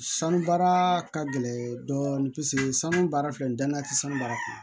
Sanu baara ka gɛlɛn dɔɔni paseke sanu baara filɛ nin danaya tɛ sanu baara kɔnɔ